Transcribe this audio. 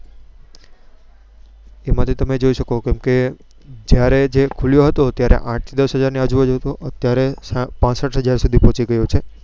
એમાં થી તમે જોઈ શકો કે જયારે જે ખુલ્યો હતો ત્યારે આંઠ થી દસ હાજર ની આજુ બાજુ હતો અત્યારે પાસઠ હાજર સુથી પહોચી ગયો છે.